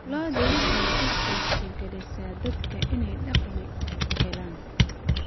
Lo'du waxay u suurtagelisaa dadka inay dakhli helaan.